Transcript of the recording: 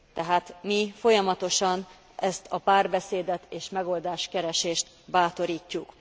Tehát mi folyamatosan ezt a párbeszédet és megoldáskeresést bátorítjuk.